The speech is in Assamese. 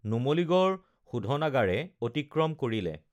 নুমলীগড় শোধনাগাৰে অতিক্ৰম কৰিলে